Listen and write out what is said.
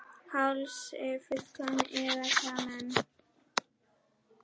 Hálsi fullum iðka menn.